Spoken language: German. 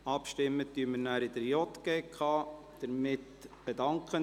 Wir werden im Rahmen des JGK-Geschäfts darüber abstimmen.